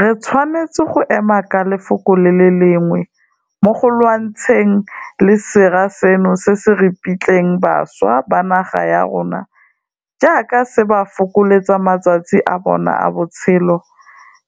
Re tshwanetse go ema ka lefoko le le lengwe mo go lwantshaneng le sera seno se se ripitlang bašwa ba naga ya rona jaaka se ba fokoletsa matsatsi a bona a botshelo,